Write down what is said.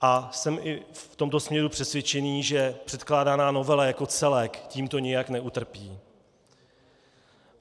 A jsem i v tomto směru přesvědčen, že předkládaná novela jako celek tímto nijak neutrpí.